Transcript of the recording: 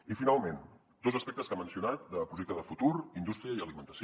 i finalment dos aspectes que ha mencionat de projecte de futur indústria i alimentació